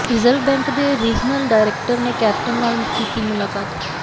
reserve bank ਦੇ regional director ਨੇ captain ਨਾਲ ਕੀਤੀ ਮੁਲਾਕਾਤ